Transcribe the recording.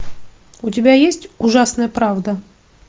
у тебя есть ужасная правда